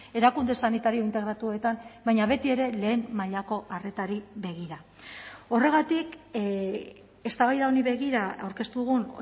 erakunde sanitario integratuetan baina betiere lehen mailako arretari begira horregatik eztabaida honi begira aurkeztu dugun